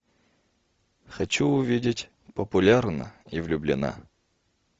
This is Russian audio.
хочу увидеть популярна и влюблена